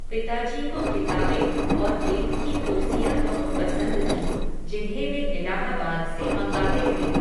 पिता जी को किताबें, और बेंत की कुर्सियां बहुत पसंद थीं, जिन्हें वे इलाहाबाद से मंगाते थे